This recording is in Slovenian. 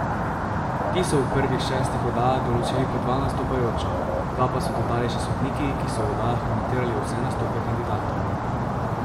Ti so v prvih šestih oddajah določili po dva nastopajoča, dva pa so dodali še sodniki, ki so v oddajah komentirali vse nastope kandidatov.